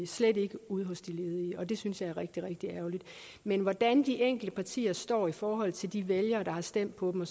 slet ikke ude hos de ledige og det synes jeg er rigtig rigtig ærgerligt men hvordan de enkelte partier står i forhold til de vælgere der har stemt på dem